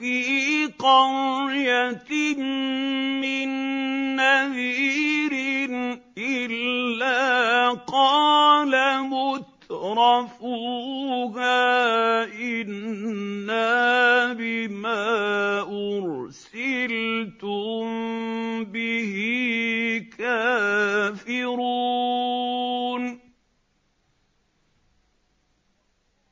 فِي قَرْيَةٍ مِّن نَّذِيرٍ إِلَّا قَالَ مُتْرَفُوهَا إِنَّا بِمَا أُرْسِلْتُم بِهِ كَافِرُونَ